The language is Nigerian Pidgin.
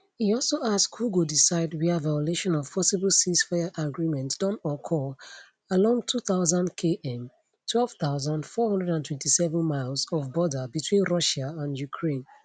e also ask who go decide wia violation of possible ceasefire agreement don occur along 2000km 12427 miles of border between russia and ukraine